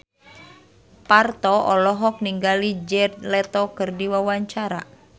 Parto olohok ningali Jared Leto keur diwawancara